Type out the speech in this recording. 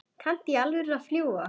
Kanntu í alvöru að fljúga?